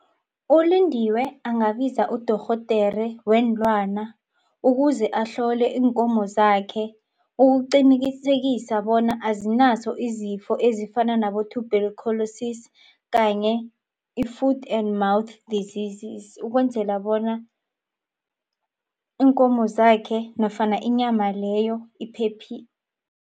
ULindiwe angabiza udorhodere weenlwana ukuze ahlole iinkomo zakhe ukuqinikisekisa bona azinazo izifo ezifana nabo-tuberculosis kanye i-food and mouth diseases ukwenzela bona iinkomo zakhe nofana inyama leyo